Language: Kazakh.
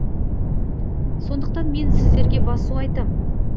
сондықтан мен сіздерге басу айтам